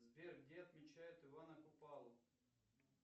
сбер где отмечают ивана купалу